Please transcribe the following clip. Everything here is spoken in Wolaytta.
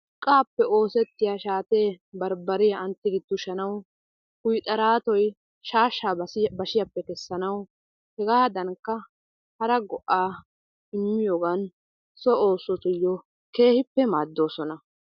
Urqqaappe oosetiya shaatee barbbariya an tiggi tushanawu kuyxxaraatoy shaashshaa bashiyappe kessanawu hegaadankka hara go"aa immiyogaan so oosotuyo keehippe maaddoosona.